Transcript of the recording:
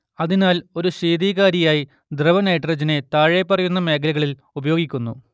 അതിനാൽ ഒരു ശീതീകാരിയായി ദ്രവനൈട്രജനെ താഴെപ്പറയുന്ന മേഖലകളിൽ ഉപയോഗിക്കുന്നു